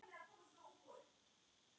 Flautað til leiks.